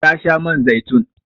Ta sha man zaitun.